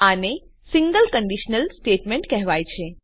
આને single conditional statement કહેવાય છે